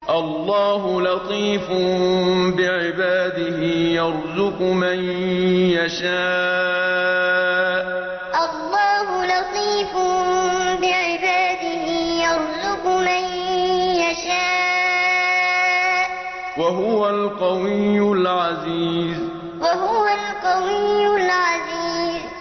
اللَّهُ لَطِيفٌ بِعِبَادِهِ يَرْزُقُ مَن يَشَاءُ ۖ وَهُوَ الْقَوِيُّ الْعَزِيزُ اللَّهُ لَطِيفٌ بِعِبَادِهِ يَرْزُقُ مَن يَشَاءُ ۖ وَهُوَ الْقَوِيُّ الْعَزِيزُ